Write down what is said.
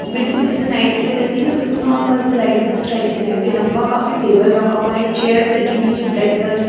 बिल्कुल जैसे लाइट में रहती हैं ना बिल्कुल नॉरमल सी लाइट उस टाइप की लाइट लम्बा काफी टेबल रखा हुआ हैं चेयर लगी हुई हैं ब्लैक कलर की--